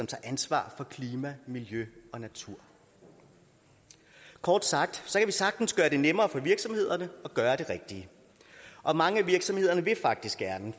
tager ansvar for klima miljø og natur kort sagt kan sagtens gøre det nemmere for virksomhederne at gøre det rigtige og mange af virksomhederne vil faktisk gerne